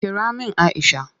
Kira min Aisha!